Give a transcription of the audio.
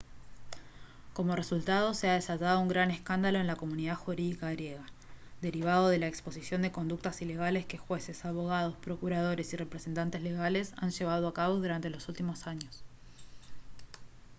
como resultado se ha desatado un gran escándalo en la comunidad jurídica griega derivado de la exposición de conductas ilegales que jueces abogados procuradores y representantes legales han llevado a cabo durante los últimos años